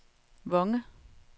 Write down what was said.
Vonge